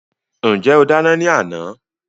Ǹjẹ́ o dá iná ní àná?